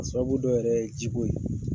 A sababu dɔ yɛrɛ ye jiko ye.